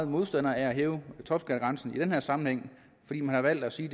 modstandere af at hæve topskattegrænsen i den her sammenhæng fordi man har valgt at sige